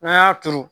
N'an y'a turu